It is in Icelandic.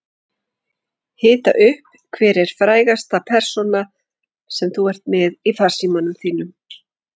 Hita upp Hver er frægasta persónan sem þú ert með í farsímanum þínum?